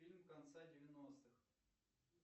фильм конца девяностых